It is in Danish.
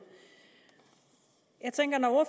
jeg tænker at når